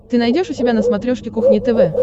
ты найдешь у себя на смотрешке кухня тв